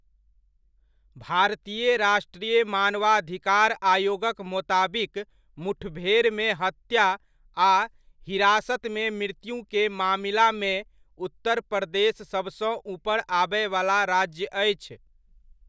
भारतीय राष्ट्रीय मानवाधिकार आयोगक मोताबिक मुठभेरमे हत्या आ हिरासतमे मृत्युकेँ मामिलामे उत्तर प्रदेश सभसँ ऊपर आबयवला राज्य अछि।